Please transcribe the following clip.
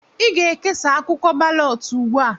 Ị ga-ekesa akwụkwọ balọt ugbu a!